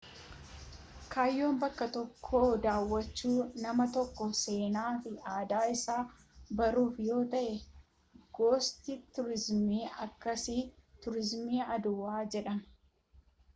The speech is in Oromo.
kaayyoon bakka tokko daawwachuu nama tokkoo seenaa fi aadaa isaa baruuf yoo ta'e gosti turiizimiin akkasii tuuriizimii aadawaa jedhama